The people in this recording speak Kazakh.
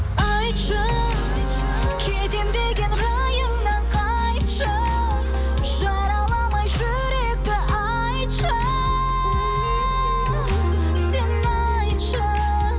айтшы кетемін деген райыңнан қайтшы жараламай жүректі айтшы сен айтшы